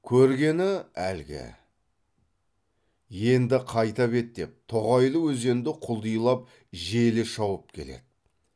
көргені әлгі енді қайта беттеп тоғайлы өзенді құлдилап желе шауып келеді